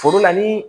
Foro la ni